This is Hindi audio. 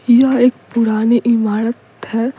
यह एक पुरानी इमारत है।